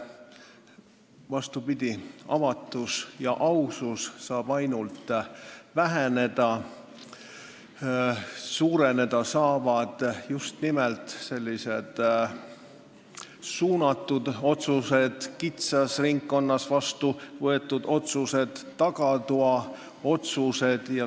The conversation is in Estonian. Vastupidi, avatus ja ausus saab sel juhul ainult väheneda ja sageneda saavad just nimelt sellised suunatud otsused, kitsas ringkonnas vastu võetud otsused, tagatoaotsused.